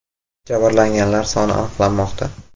Jabrlanganlar soni aniqlanmoqda.